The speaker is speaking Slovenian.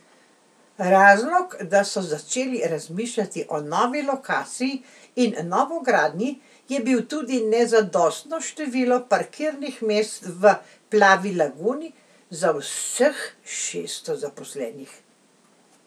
Razlog, da so začeli razmišljati o novi lokaciji in novogradnji, je bil tudi nezadostno število parkirnih mest v Plavi laguni za vseh šeststo zaposlenih.